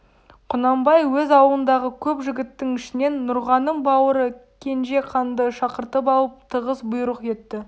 құнанбай өз аулындағы көп жігіттің ішінен нұрғаным бауыры кенжеқанды шақыртып алып тығыз бұйрық етті